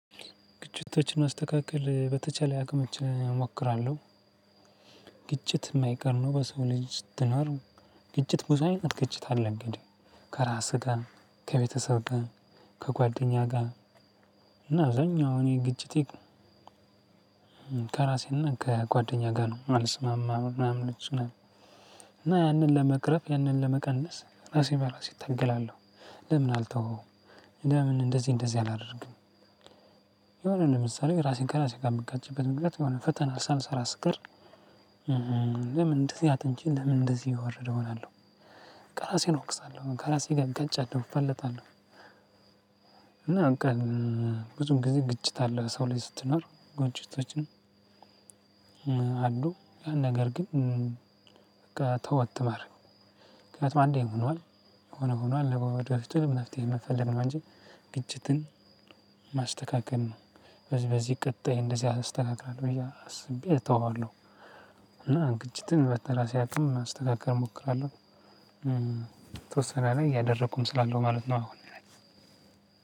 ግጭቶችን ማስተካከል በተቻለ አቅምች እሞክራለሁ። ግጭት የማይቀር ነው በሰው ልጅ ስትኖር። ግጭት ብዙ አይነት ግጭት አለ። እንግዲህ ከራስህ ጋር፣ ከቤተሰብ ጋር፣ ከጓደኛ ጋር። እና አብዛኛውን እኔ ግጭቴ ከራሴና ከጓደኛ ጋር ነው የማልስማማ ምናምን ምናምን። እና ያንን ለመቅረፍ ያንን ለመቀነስ ራሴ በራሴ እታገላለሁ። ለምን አልተወውም? ለምን እንደዚህ እንደዚህ አላደርግም? የሆነ ለምሳሌ ራሴን ከራሴ ጋር የምጋጭበት ምክንያት የሆነ ፈተና ሳልሰራ ስቀር። ለምን እንደዚህ አጥንቼ ለምን እንደዚህ የወረደ እሆናለሁ። ከራሴን እወቅሳለሁ ከራሴ ጋር እጋጫለሁ እፋለጣለሁ። እና ብዙውን ጊዜ ግጭት አለ ሰው ላይ ስትኖር ግጭቶች። አሉ ነገር ግን ተወት ማድረግ ነው። ምክንያቱም አንዴ ሆኗል። የሆነ ሆኗል ነው ለወደፊቱ የሆነ መፍትሄ መፈለግ ነው። እንጂ ግጭትን ማስተካከል ነው። በዚህ በዚህ ቀጣይ እንደዚህ አስተካክላለሁ ብዬ አስቤ እተወዋለሁ። እና ግጭትን በራሴ አቅም ለማስተካከል እሞክራለሁ። የተወሰነ ያህል እያደረኩም ስላለሁ ማለት ነው። አሁን ነገር